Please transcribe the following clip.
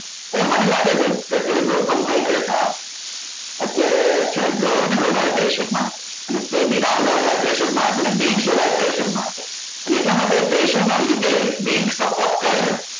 એટલે મને લાગે છે કે અત્યારે ગૌતમ ભાઈ કરતા અત્યારે છે ને government વધારે pressure મારે અને વધારે pressure મારે અને bank સિવાય pressure મારે અને એટલા માટે pressure લીધે જ bank support કરે છે